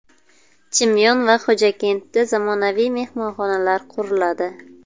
Chimyon va Xo‘jakentda zamonaviy mehmonxonalar quriladi.